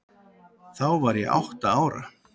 Þá var ég átta ára.